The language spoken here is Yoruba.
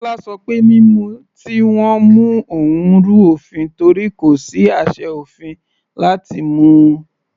Kọla ṣọ pé mímú tí wọ́n mú òun rú òfin torí kò sí àṣẹ òfin láti mú u.